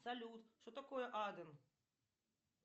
салют что такое аден